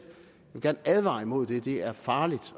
jeg vil gerne advare imod det det er farligt